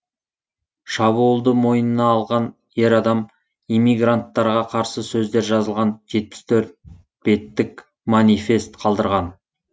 шабуылды мойнына алған ер адам иммигранттарға қарсы сөздер жазылған жетпіс төрт беттік манифест қалдырған